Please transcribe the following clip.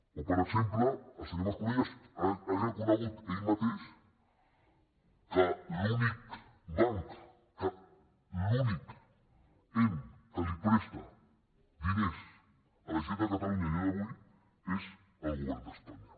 o per exemple el senyor mas colell ha reconegut ell mateix que l’únic banc l’únic ens que li presta diners a la generalitat de catalunya a dia d’avui és el govern d’espanya